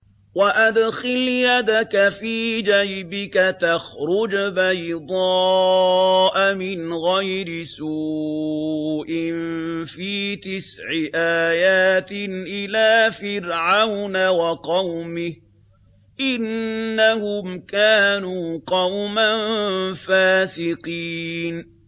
وَأَدْخِلْ يَدَكَ فِي جَيْبِكَ تَخْرُجْ بَيْضَاءَ مِنْ غَيْرِ سُوءٍ ۖ فِي تِسْعِ آيَاتٍ إِلَىٰ فِرْعَوْنَ وَقَوْمِهِ ۚ إِنَّهُمْ كَانُوا قَوْمًا فَاسِقِينَ